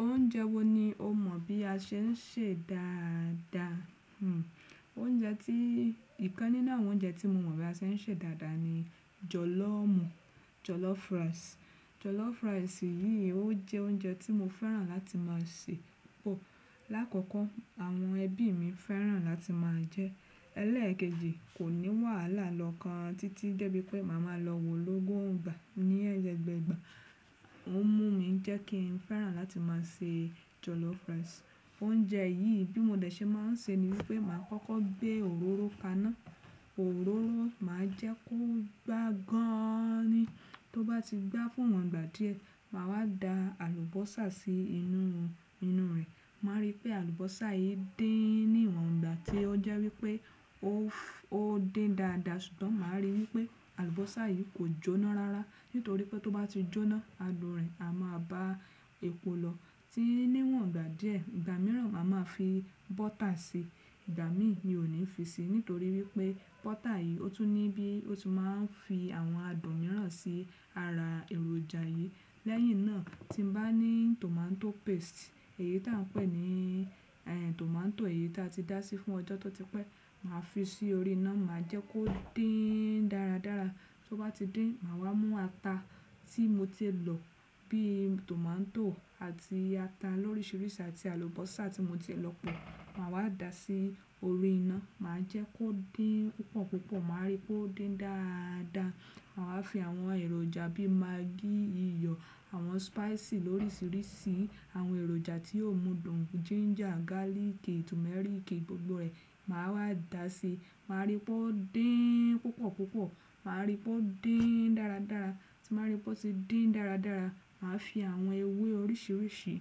Oúnjẹ wo ni o mọ̀ bí a ṣe ń sè dáadáa? Hmm oúnjẹ tí, ìkan nínú àwọn oúnjẹ tí mo mọ̀ bí a ṣe ń sè dáadáa ni jọ̀lọ́fù, jọ̀lọ́fù rice. Jọ̀lọ́fù rice yìí ó jẹ́ oúnjẹ tí mo fẹ́ràn láti máa sè. Oh lákọ̀kọ́ àwọn ẹbí mi fẹ́ràn láti máa jẹ ẹ́. Lẹ́ẹ̀kejì kò ní wàhálà lọ́kan títí débi pé màá máa lọ wò lọ́gùn ìgbà ní ẹgbẹgbẹ̀ẹ́ ìgbà. Ó mú mi jẹ́ kí n fẹ́ràn láti máa sè jọ̀lọ́fù rice. Oúnjẹ yìí bí mo dẹ̀ ṣe máa ń ṣe ni wípé màá kọ́kọ́ gbé òróró kaná, òróró màá jẹ́ kó gbá gan ni. Tó bá ti gbá fún wọ̀n ìgbà díẹ̀, màá wá da àlùbọ́sà sí inú, inú rẹ̀. Màá rí pé àlùbọ́sà yìí dín ní ìwọ̀n ìgbà tí ó jẹ́ wípé ó, ó dín dáadáa ṣùgbọ́n màá rí wípé àlùbọ́sà yìí kò jóná rárá nítorí pé tó bá ti jóná, adùn rẹ̀ a máa bá epo lọ. Tí níwọ̀n ìgbà díẹ̀ ìgbà mìíràn màá máa fi bọ́tà ṣe, ìgbà mí mi ò ní fi sí nítorí wípé bọ́tà yìí ó tún ní bí ó ti máa ń fi àwọn adùn mìíràn sí ara èròjà yì. Lẹ́yìn náà tí n bá ní tòmátò paste èyí tí à n pè ní ẹ́ tòmátò èyí tí a ti dá sí fún ọjọ́ tọ́ tipẹ́ màá fi sí orí iná màá jẹ́ kó dín dáradára. Tó bá ti dín màá wá mú ata tí mo ti lọ bí tòmátò àti ata lórísírísìí àti àlùbọ́sà tí mo ti lọ pọ̀ màá wá dà á sí orí iná. Màá jẹ́ kó dín púpọ̀púpọ̀ màá rí pé ó dín dáadáa. Màá wá fi àwọn èròjà bí magí iyọ̀, àwọn spicy lórísírísì, àwọn èròjà tí yóò mú dùn, ginger, garlic, turmeric gbogbo rẹ̀ màá wá dà á sí. Màá rí pé ó dín púpọ̀púpọ̀, màá rí pé ó dín dáradára. Tí màá rí pé ó ti dín dáradára màá fi àwọn ewé orísìrísí,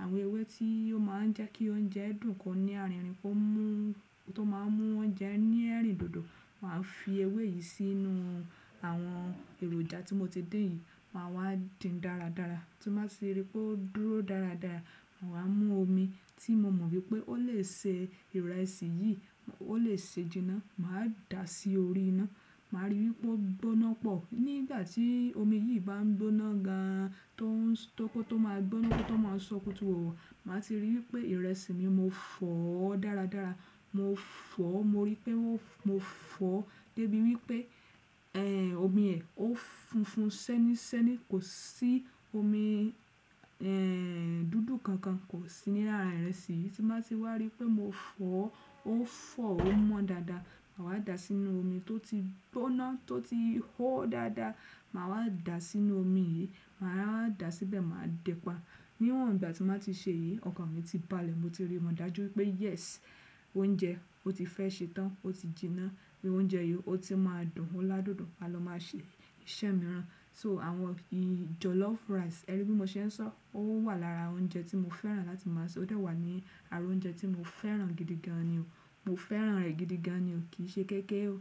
àwọn ewé tí ó máa ń jẹ́ kí oúnjẹ dùn kọ́ ní arìnrìn, kó mú tó máa ń mú oúnjẹ ní ẹ̀rìndòdò. Màá fi ewé yì sínú àwọn èròjà tí mo ti dín yì. Màá wá dín dáradára. Tí màá ti rí pé ó dúró dáradára màá wá mú omi tí mo mọ̀ wípé ó lè ṣe ìrẹsì yí, ó lè ṣe jinná màá dà á sí orí iná. Màá rí wípé ó gbóná pọ̀ nígbà tí omi yí bá ń gbóná gan tó ń tó kó tó máa ń gbóná tó máa ń sọkútù wọ̀ wọ̀ màá ti rí wípé ìrẹsì mi mo fọ̀ ọ́ dáradára. Mo fọ̀ ọ́ mo rí pé mó, mo fọ̀ ọ́ débi wípé ẹ́ omi ẹ̀ ó funfun sẹ́nísẹ́ní kò sí omi ẹ́ dúdú kankan kò sí ní ara ìrẹsì yì. Tí màá ti wá rí pé mo fọ̀ ọ́ ó fọ̀ ó mọ́ dáadáa màá wá dà á sínú omi tó ti gbóná tó ti hó dáadáa màá wá dà á sínú omi yì. Màá wá dà á síbẹ̀ màá depa. Níwọ̀n ìgbà tí màá ti ṣe yí ọkàn mi ti balẹ̀ mo ti rí, mo dájú pé yes oúnjẹ ó ti fẹ́ ṣe tán ó ti jiná bí oúnjẹ yì ó ti máa dùn ó ládùn dùn a lọ máa ṣe iṣẹ́ mìíràn. So àwọn ì jọ̀lọ́fù rice ẹbí mo ṣe ń sọ ó wà lára oúnjẹ tí mo fẹ́ràn láti máa sè ó dà wá ní ara oúnjẹ tí mo fẹ́ràn gidi gan ni o. Mo fẹ́ràn rẹ̀ gidi gan ni o kì ṣe kéké o.